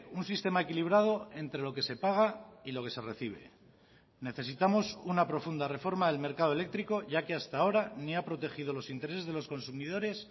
un sistema equilibrado entre lo que se paga y lo que se recibe necesitamos una profunda reforma del mercado eléctrico ya que hasta ahora ni ha protegido los intereses de los consumidores